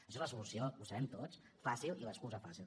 això és la solució ho sabem tots fàcil i l’excusa fàcil